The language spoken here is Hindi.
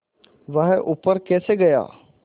वह ऊपर कैसे गया